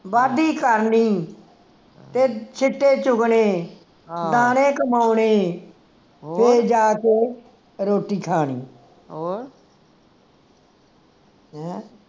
ਵਾਢੀ ਕਰਨੀ ਤੇ ਛਿੱਟੇ ਚੁਗਣੇ ਦਾਣੇ ਕਮਾਉਣੇ ਫੇਰ ਜਾ ਕੇ ਰੋਟੀ ਖਾਣੀ ਹਮ